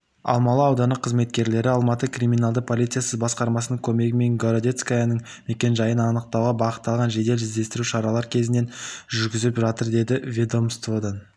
алмалы ауданы қызметкерлері алматы криминалды полициясы басқармасының көмегімен городецкаяның мекенжайын анықтауға бағытталған жедел іздестіру шаралар кешенін жүргізіп жатыр деді ведомстводан